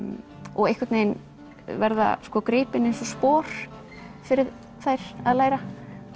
og einhvern veginn verða gripin eins og spor fyrir þær að læra